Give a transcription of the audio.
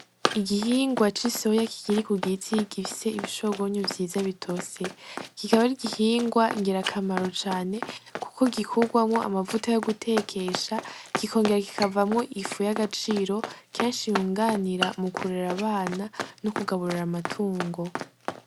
Igihingwa c'i soya kigiri ku gitiy gifise ibishogonyo vyiza bitose kikabari igihingwa ngira akamaro cane, kuko gikurwamwo amavuta yo gutekesha gikongera gikavamwo igifu y'agaciro cyanshi iyunganira mu kurura abana no kugaburura amatungo.